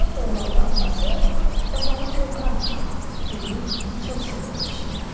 Kazım doğulanda atası, ocağım kor qalmadı deyib çox sevinmişdi.